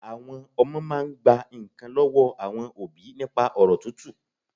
Àwọn Ọmọ máa n gba nkàn lọ́wọ́ àwọn òbí nípa ọ̀rọ̀ tútù